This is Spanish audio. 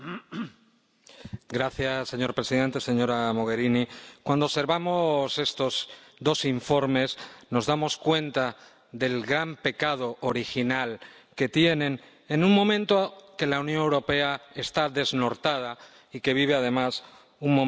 Señor presidente, señora Mogherini, cuando observamos estos dos informes, nos damos cuenta del gran pecado original que tienen en un momento en que la Unión Europea está desnortada y vive, además, un momento desintegrador.